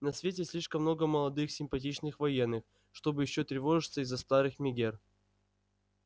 на свете слишком много молодых симпатичных военных чтобы ещё тревожиться из-за старых мегер